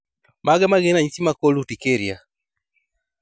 Mage magin ranyisi mag cold urticaria